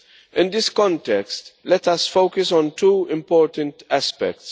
In this context, let us focus on two important aspects.